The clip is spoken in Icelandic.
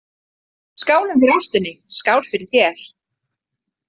Skálum fyrir ástinni, skál fyrir þér